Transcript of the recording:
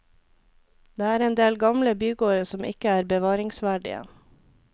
Det er endel gamle bygårder som ikke er bevaringsverdige.